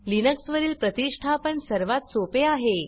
Linux वरील प्रतिष्ठापन सर्वात सोपे आहे